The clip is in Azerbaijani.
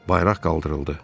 Bayraq qaldırıldı.